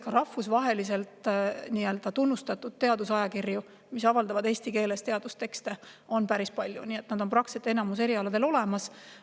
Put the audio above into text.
Ka rahvusvaheliselt tunnustatud teadusajakirju, mis avaldavad teadustekste eesti keeles, on päris palju, need on praktiliselt enamikul erialadel olemas.